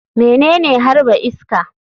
Menene harba iska?